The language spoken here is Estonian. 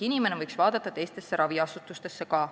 Inimene võiks vaadata teistesse raviasutustesse ka.